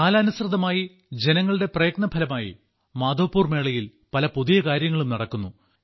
കാലാനുസൃതമായി ജനങ്ങളുടെ പ്രയത്നഫലമായി മാധവ്പുർ മേളയിൽ പല പുതിയ കാര്യങ്ങളും നടക്കുന്നു